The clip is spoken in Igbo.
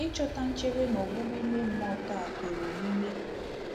Ị chọta nchebe na ọgwụgwọ ime mmụọ taa kwere omume.